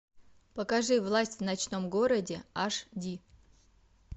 покажи власть в ночном городе аш ди